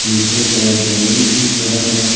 नीचे का जमीन दिख रहा है ।